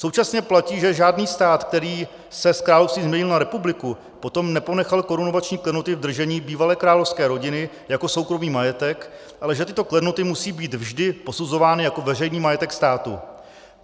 Současně platí, že žádný stát, který se z království změnil na republiku, potom neponechal korunovační klenoty v držení bývalé královské rodiny jako soukromý majetek, ale že tyto klenoty musí být vždy posuzovány jako veřejný majetek státu.